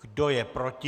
Kdo je proti?